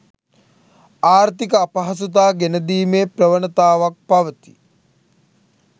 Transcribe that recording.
ආර්ථික අපහසුතා ගෙනදීමේ ප්‍රවණතාවක් පවතී.